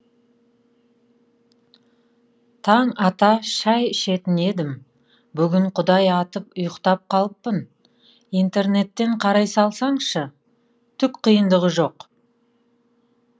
таң ата шай ішетін едім бүгін құдай атып ұйықтап қалыппын интернеттен қарай салсаңшы түк қиындығы жоқ